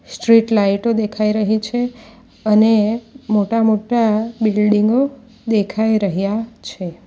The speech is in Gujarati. સ્ટ્રીટ લાઈટો દેખાય રહી છે અને મોટા-મોટા બિલ્ડીંગો દેખાય રહ્યા છે.